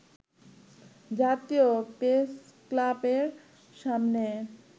জাতীয় প্রেসক্লাবের সামনে